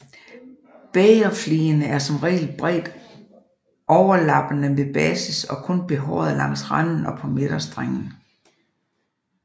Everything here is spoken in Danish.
Bægerfligene er som regel bredt overlappende ved basis og kun behårede langs randen og på midtstrengen